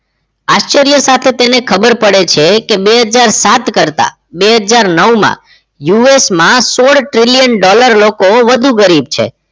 આચાર્ય સાથે તેને ખબર પડે છે કે બે હજાર સાત કરતા બે હજાર નવ માં us માં સોળ trillion dollar લોકો વધુ ગરીબ છે